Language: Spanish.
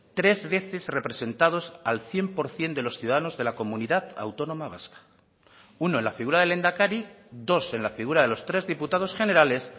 tres veces representados al cien por ciento de los ciudadanos de la comunidad autónoma vasca uno en la figura del lehendakari dos en la figura de los tres diputados generales